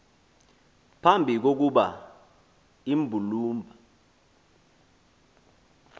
phambi kokuba imbulumba